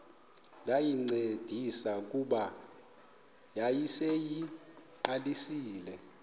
ndayincedisa kuba yayiseyiqalisile